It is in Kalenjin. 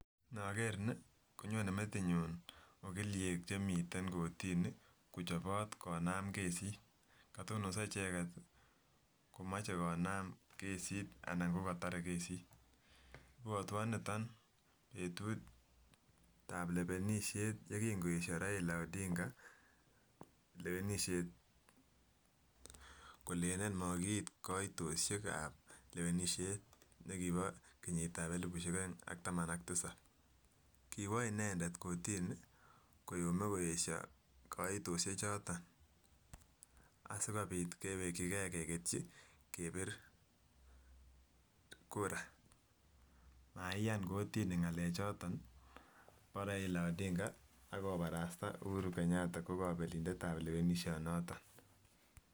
Noker nii konyone metinyun ogiliek chemiten kotini kochobot konam kesit, kotonoso icheket komoche konam kesit anan kokotore kesit. Ibwotwon niton betut ab lewenishet yekikoesho Raila lewenishet kolelen mokiit koitoshet ab lewenishet nekibo kenyit ab elibush oeng ak taman ak tisab kiwo inendet kotinii koyome koyesho koitoshek choton asikobit keweki gee keketyi kebir kuraa, maiyan kotini ngalek choton bo Raila ak kobarasta Uhuru Kenyata ko kobelindetab kolewenisho noton.